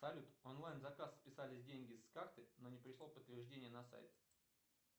салют онлайн заказ списались деньги с карты но не пришло подтверждение на сайт